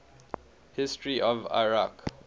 history of iraq